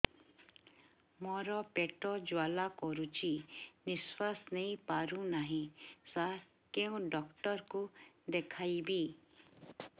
ମୋର ପେଟ ଜ୍ୱାଳା କରୁଛି ନିଶ୍ୱାସ ନେଇ ପାରୁନାହିଁ ସାର କେଉଁ ଡକ୍ଟର କୁ ଦେଖାଇବି